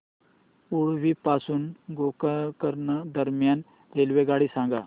उडुपी पासून गोकर्ण दरम्यान रेल्वेगाडी सांगा